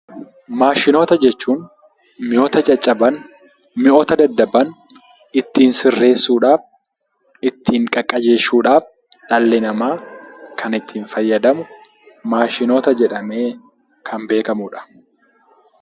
Maashinoota jechuun mi'oota caccaban, mi'oota daddaban ittiin sirreessuudhaaf, ittiin qaqqajeeshuudhaaf dhalli namaa kan ittiin fayyadamu maashinoota jedhamee kan beekamudha.